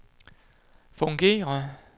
fungerer